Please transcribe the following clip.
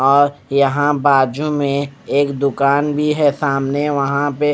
और यहां बाजू में एक दुकान भी है सामने वहां पे--